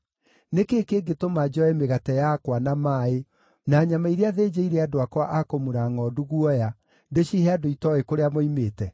Nĩ kĩĩ kĩngĩtũma njoe mĩgate yakwa, na maaĩ, na nyama iria thĩnjĩire andũ akwa a kũmura ngʼondu guoya, ndĩcihe andũ itooĩ kũrĩa moimĩte?”